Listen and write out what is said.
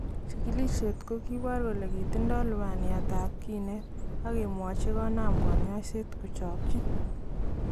Chikiloshet kokibor kole kitindo lubaniat tab kinet ,agemwochi konam konyoiset kochokyi.